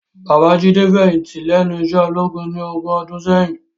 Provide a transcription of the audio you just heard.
Baba Jide fèyinti lènú iṣè ólógún ni ógùn òdùn sèyin